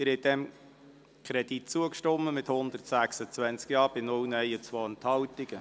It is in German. Sie haben diesem Kredit zugestimmt mit 126 Ja- bei 0 Nein-Stimmen und 2 Enthaltungen.